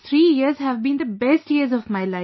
three years have been the best years of my life